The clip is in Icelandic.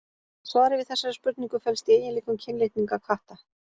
Svarið við þessari spurningu felst í eiginleikum kynlitninga katta.